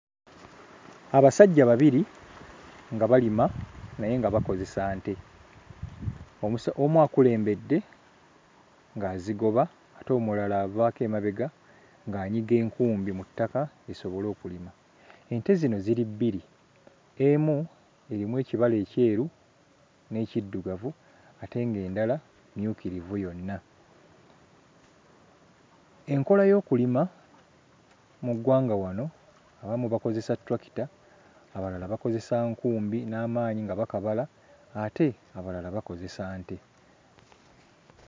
Abasajja babiri nga balima naye nga bakozesa nte omusa omu akulembedde ng'azigoba ate omulala avaako emabega ng'anyiga enkumbi mu ttaka zisobole okulima. Ente zino ziri bbiri, emu erimu ekibala ekyeru n'ekiddugavu ate ng'endala mmyukirivu yonna. Enkola y'okulima mu ggwanga wano abamu bakozesa ttulakita, abalala bakozesa nkumbi n'amaanyi nga bakabala ate abalala bakozesa nte.